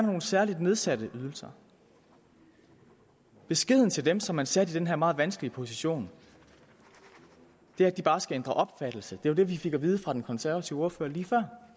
nogle særligt nedsatte ydelser beskeden til dem som man satte i den her meget vanskelige position var at de bare skulle ændre opfattelse det var jo det vi fik at vide fra den konservative ordfører lige